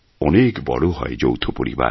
অনেক বড় হয় যৌথ পরিবার